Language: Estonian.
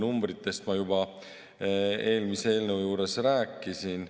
Numbritest ma juba eelmise eelnõu juures rääkisin.